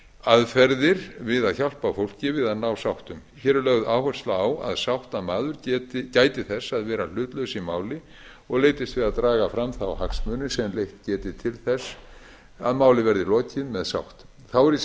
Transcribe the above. aðferðir við að hjálpa fólki að ná sáttum hér er lögð áhersla á að sáttamaður gæti þess að vera hlutlaus í máli og leitist við að draga fram þá hagsmuni sem leitt geti til þess að máli verði lokið með sátt þá er í